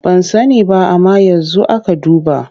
Ban sani ba amma yanzu aka duba.